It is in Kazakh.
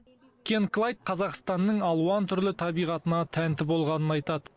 кен клайд қазақстанның алуан түрлі табиғатына тәнті болғанын айтады